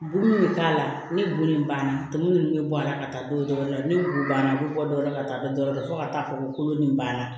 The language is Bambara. Buguri bɛ k'a la ni bo nin banna tobi nin bɛ bɔ a la ka taa dɔw wɛrɛ la ni banna u bɛ bɔ dɔwɛrɛ la ka taa dɔ wɛrɛ la fo ka taa fɔ ko kolo nin banna